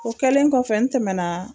O kɛlen kɔfɛ n tɛmɛna